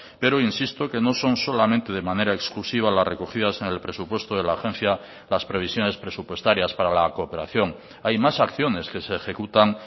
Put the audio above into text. pero insisto que no son solamente de manera exclusiva las recogidas en el presupuesto de la agencia las previsiones presupuestarias para la cooperación hay más acciones que se ejecutan